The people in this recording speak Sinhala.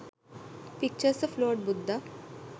pictures of lord buddha